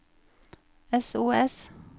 sos